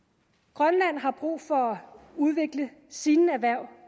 grønland har brug for at udvikle sine erhverv